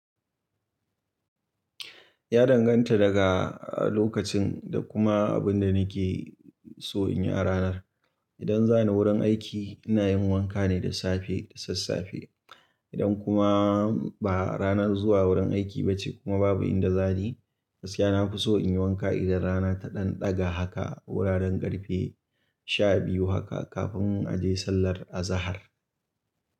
Ya danganta daga lokacin da kuma abin da nake so in yi a ranar. Idan zani wurin aiki ina yin wanka ne da safe da sassafe. Idan kuma ba ranar zuwa wurin aiki ba ce kuma babu inda za ni, gaskiya na fi so in yi wanka idan rana ta ɗan ɗaga haka wuraren ƙarfe sha biyu haka kafin a je sallar azahar.